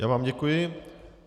Já vám děkuji.